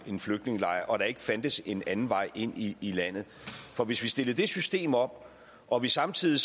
en flygtningelejr og der ikke fandtes en anden vej ind i i landet for hvis vi stiller det system op og vi samtidig